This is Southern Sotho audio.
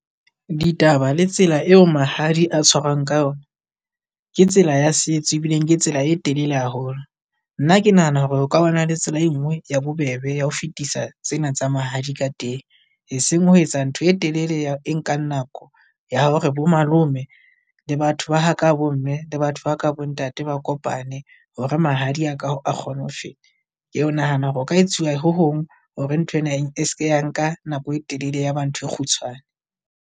Ditaba le tsela eo mahadi a tshwarwang ka yona, ke tsela ya setswe ebileng ke tsela e telele haholo. Nna ke nahana hore o ka bana le tsela e nngwe ya bobebe ya ho fetisa tsena tsa mahadi ka teng. Eseng Ho etsa ntho e telele ya e nkang nako ya hore bo malome le batho ba ha ka bo mme le batho ba ka bo ntate ba kopane hore mahadi a ka a kgone ho feta. Keo nahana hore ho ka etsuwa ho hong hore ntho ena eng e se ke ya nka nako e telele, ya ba ntho e kgutshwane.